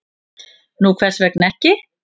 """Nú, hvers vegna ekki?"""